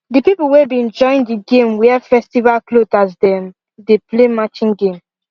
the people wey been join the game wear festival cloth as dem dey play matching game